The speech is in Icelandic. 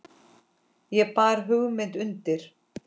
Ég bar hugmynd undir